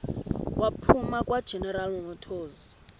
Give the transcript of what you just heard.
waphuma kwageneral motors